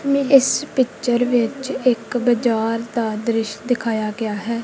ਇਸ ਪਿੱਚਰ ਵਿੱਚ ਇੱਕ ਬਾਜ਼ਾਰ ਦਾ ਦ੍ਰਿਸ਼ ਦਿਖਾਇਆ ਗਿਆ ਹੈ।